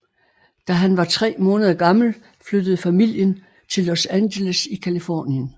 Da han var tre måneder gammel flyttede familien til Los Angeles i Californien